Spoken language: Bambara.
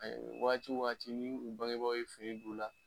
Wagati wo wagati ni u bangebaaw ye fini don u la